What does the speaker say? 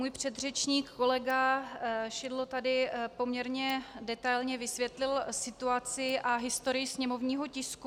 Můj předřečník kolega Šidlo tady poměrně detailně vysvětlil situaci a historii sněmovního tisku.